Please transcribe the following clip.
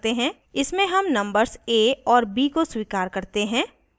इसमें हम numbers a और b को स्वीकार करते हैं